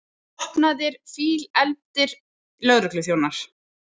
Vopnaðir, fílefldir lögregluþjónar!